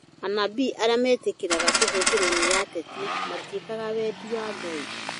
Anabii arĩa metĩkĩra kũhũthĩrwo nĩ ateti matĩikaga wendi wa Ngai